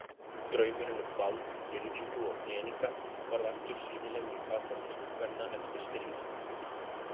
Draumurinn um vald, virðingu og peninga varð aftur sýnilegur í fatatísku kvenna eftir stríð.